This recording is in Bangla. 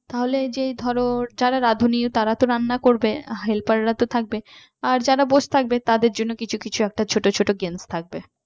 তাহলে যে ধরো যারা রাধুনী তারা তো রান্না করবে helper রা তো থাকবে আর যারা বসে থাকবে তাদের জন্য কিছু কিছু একটা ছোট ছোট games থাকবে